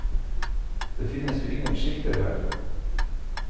Det finnes jo ingen skilter her.